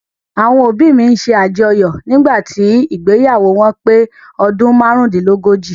Àwọn òbí mi ṣe àjọyọ̀ nígbàtí ìgbéyàwó wọn pé ọdún márúndínlógójì.